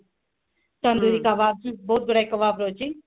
ତନ୍ଦୁରୀ କବାବ ବହୁତ ଗୁଡେ କବାବ ରହୁଛି